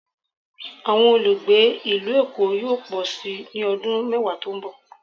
Awọn olugbe ilu Èko yoo pọ si ni ọdun mẹwa to n bọ